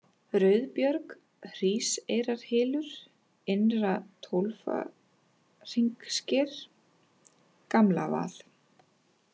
Rauðubjörg, Hríseyrarhylur, Innra-Tólfahringssker, Gamlavað